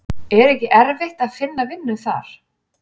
Er ekki erfitt að finna vinnu þar?